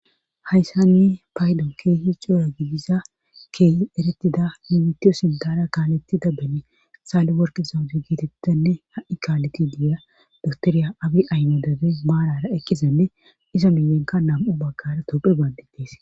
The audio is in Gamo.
Hayssanni paydon keehi cooya gidisa keehi eretida mimitiyo sindara kaalettida bene saali worke sawufi giitettenne ha'i kaaleti diya doktoriya abi aymo debe maarara ekkisenne iza milenka nam'u bagkara tophi baandidees